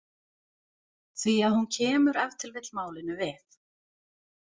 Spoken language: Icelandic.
Því að hún kemur ef til vill málinu við.